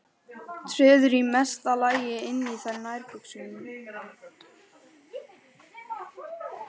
Treður í mesta lagi inn í þær nærbuxum.